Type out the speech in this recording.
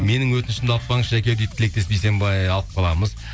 менің өтінішімді алып қалыңызшы жәке дейді тілектес бейсенбай алып қаламыз